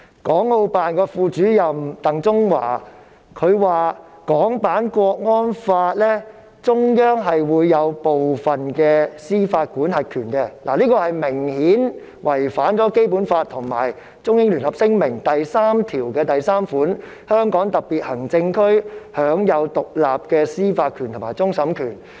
港澳辦副主任鄧中華表示，中央在港區國安法有司法管轄權，這明顯違反《基本法》及《中英聯合聲明》第三條第三款：香港特別行政區享有獨立的司法權及終審權。